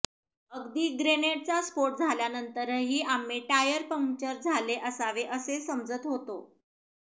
अगदी ग्रेनेडचा स्फोट झाल्यानंतरही आम्ही टायर पंक्चर झाले असावे असे समजत होतो